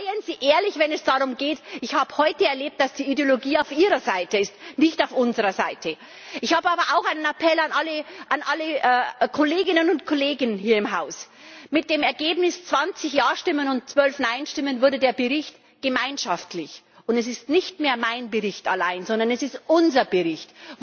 Seien Sie ehrlich, wenn es darum geht! Ich habe heute erlebt, dass die Ideologie auf Ihrer Seite ist, nicht auf unserer Seite. Ich habe aber auch einen Appell an alle Kolleginnen und Kollegen hier im Haus Mit dem Ergebnis 20 Ja Stimmen und 12 Nein Stimmen wurde der den Bericht gemeinschaftlich es ist nicht mehr mein Bericht allein, sondern es ist unser Bericht